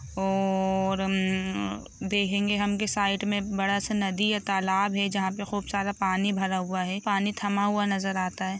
और हमम देखंगे हम की साइड में बड़ा सा नदी या तालाब है जहाँ पर खूब सारा पानी भरा हुए है पानी थमा हुआ नजर आता है